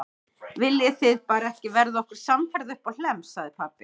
Viljið þið bara ekki verða okkur samferða uppá Hlemm, sagði pabbi.